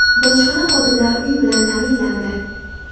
Bojxona xodimlari uy bilan ta’minlandi.